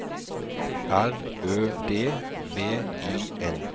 R Ø D V I N